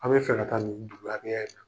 A' be fɛ ka taa niin in na.